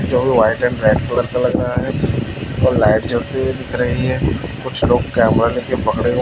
white and red colour का लग रहा है व लाइट जलती हुई दिख रही है कुछ लोग कैमरा लेके पकड़े--